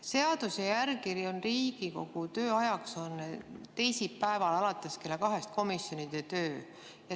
Seaduse järgi on Riigikogu tööajaks teisipäeval alates kella kahest komisjonide töö.